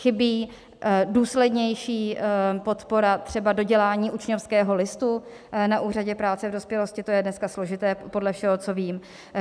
Chybí důslednější podpora třeba dodělání učňovského listu na úřadě práce v dospělosti, to je dneska složité podle všeho, co vím.